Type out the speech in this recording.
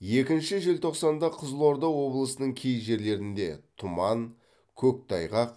екінші желтоқсанда қызылорда облысының кей жерлерінде тұман көктайғақ